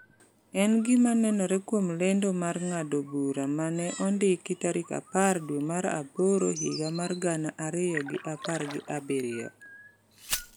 En gima nenore kuom lendo mar ng’ado bura ma ne ondiki tarik apar dwe mar aboro higa mar gana ariyo gi apar gi abiriyo,